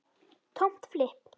Tómt flipp.